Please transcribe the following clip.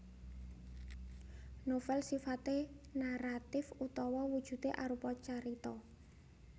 Novèl sifaté naratif utawa wujudé arupa carita